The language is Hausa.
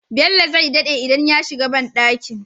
Bello zai daɗe idan ya shiga banɗakin